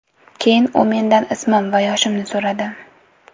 Keyin u mendan ismim va yoshimni so‘radi.